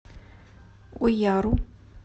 уяру